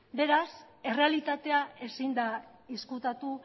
beraz errealitatea ezin da ezkutatu